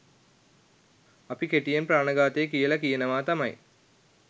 අපි කෙටියෙන් ප්‍රාණඝාතය කියලා කියනවා තමයි.